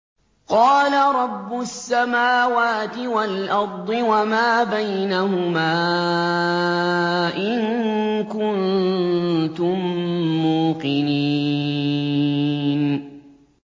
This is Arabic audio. قَالَ رَبُّ السَّمَاوَاتِ وَالْأَرْضِ وَمَا بَيْنَهُمَا ۖ إِن كُنتُم مُّوقِنِينَ